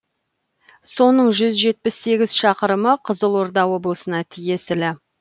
соның жүз жетпіс сегіз шақырымы қызылорда облысына тиесілі